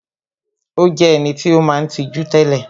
Ó jé eniti ó maa n tijú télè